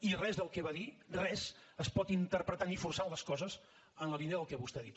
i res del que va dir res es pot interpretar ni forçant les coses en la línia del que vostè ha dit